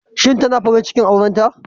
Shin tana farin cikin aurenta?